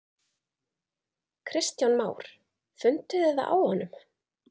Kristján Már: Funduð þið það á honum?